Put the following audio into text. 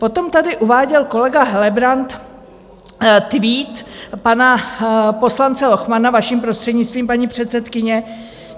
Potom tady uváděl kolega Helebrant tweet pana poslance Lochmana, vaším prostřednictvím, paní předsedkyně.